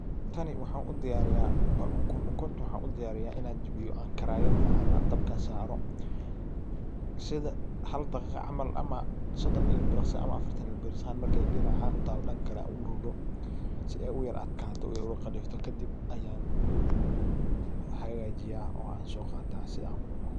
Tani waxaan u diyariya waa ukun ukunta waxaan u diyaariya inaan jabiyo karayada ama dabka saaro. Sida hal daqiiqo camal sodon il biriqsi ama afartan il biriqsi markay dinac ahaan u talo dhanka kale aan u rogo si ay u yara atkaato u qalifto kadib ayan hagaajiya oo aan so qaata si aan u cuno.